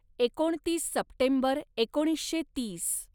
एकोणतीस सप्टेंबर एकोणीसशे तीस